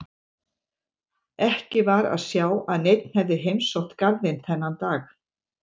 Ekki var að sjá að neinn hefði heimsótt garðinn þennan dag.